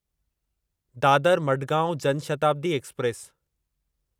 Dadar Madgaon Jan Shatabdi express